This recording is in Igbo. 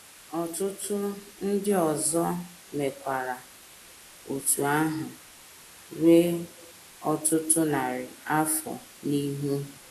Ọtụtụ ndị ọzọ mekwara otú ahụ ruo ọtụtụ narị afọ n’ihu.